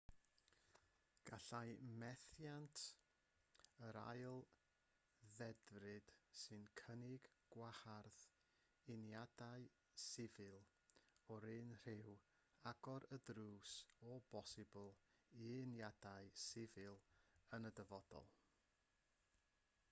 gallai methiant yr ail ddedfryd sy'n cynnig gwahardd uniadau sifil o'r un rhyw agor y drws o bosibl i uniadau sifil yn y dyfodol